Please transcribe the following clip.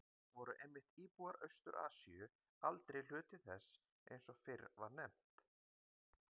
Auk þess voru einmitt íbúar Austur-Asíu aldrei hluti þess eins og fyrr var nefnt.